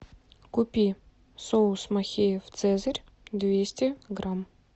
купи соус махеев цезарь двести грамм